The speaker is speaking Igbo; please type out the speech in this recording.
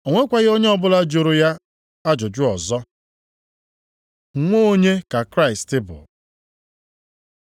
O nwekwaghị onye ọbụla jụrụ ya ajụjụ ọzọ. Nwa onye ka Kraịst bụ?